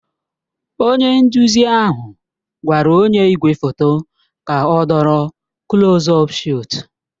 Onye nduzi ahụ gwara onye igwefoto ka ọ dọrọ kulos ọp shọtu